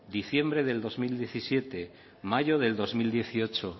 diciembre del dos mil diecisiete mayo del dos mil dieciocho